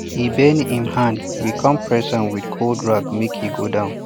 e bend him hand we come press am with cold rag make e go down